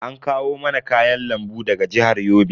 An kawo mana kayan lambu daga jihar Yobe.